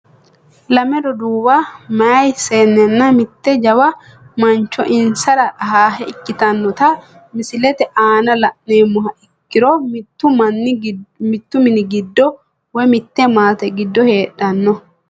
Lame roduuwa meyaa seenena mitte jawawa mancho insara ahaahe ikitinota misilete aana la`numoha ikiro mittu mini giddo woyi mitte maate giddo heedhano.